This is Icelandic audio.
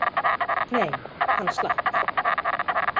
Nei, hann slapp.